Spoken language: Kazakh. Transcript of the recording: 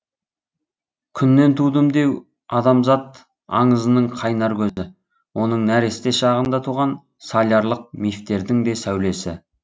күннен тудым деу адамзат аңызының қайнар көзі оның нәресте шағында туған солярлық мифтердің де сәулесі